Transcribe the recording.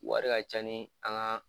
Wari ka ca ni an ka